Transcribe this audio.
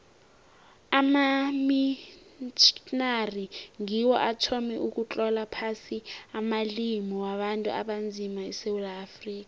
amamitjhnari ngiwo athoma ukutlola phasi amalimi wabantu abanzima esewula afrika